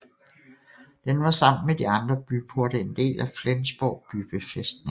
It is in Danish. Den var sammen med de andre byporte en del af Flensborg bybefæstning